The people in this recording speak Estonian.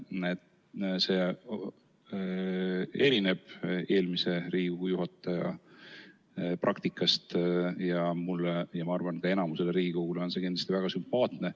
See erineb eelmise Riigikogu esimehe praktikast ning mulle ja ma arvan, et enamikule Riigikogu liikmetele on see kindlasti väga sümpaatne.